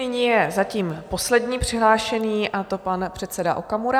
Nyní je zatím poslední přihlášený, a to pan předseda Okamura.